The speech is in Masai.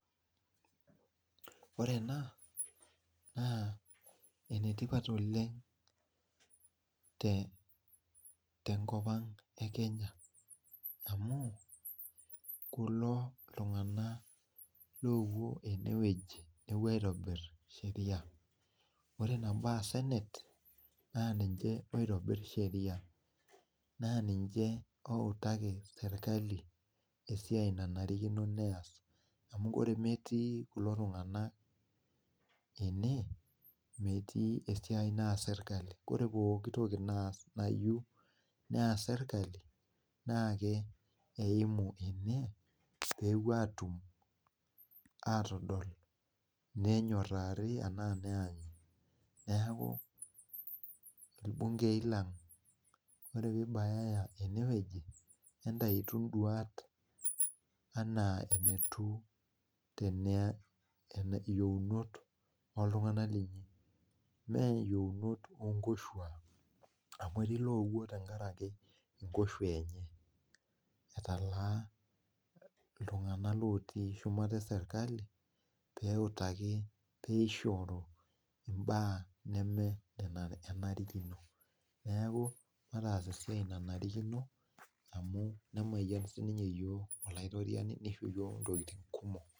Ore ena na enetipat oleng te nkop aang e kenya amu kulo ltunganak opuo enewueji nepuo aitau ncheriani, ore nabo nasenet na ninche oitobir sheria na ninche outaki serkali esiai naas ore meti kulo tunganak ene meti esiai naas serkali ore pokki toki naas serkali na keimu ene pepuo adol nenyorari neaku irbungei lang ore pibayaya enewueji entautu nduata ana yiounot oltunganak meyieunoto onkushuak amu etii loetuo tenkaraki nkoshuak etaalaa ltunganak otii shumata eserkali peyie ingoru mbaa nenenarikino neaku mataas esiai nanarikino amu kisho yiook .